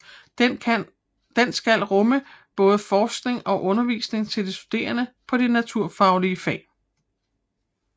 Den skal rumme både forskning og undervisning til de studerende på de naturvidenskabelige fag